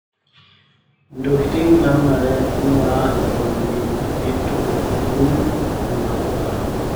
Ntokitin naanare ning'uraa eton eitu iwun nena puka.